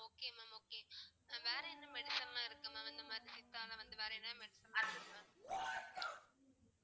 okay mam okay mam வேற என்ன medicine லாம் இருக்கு mam இந்த மாதிரி சித்தால வந்து வேற என்ன medicine லாம் இருக்கு mam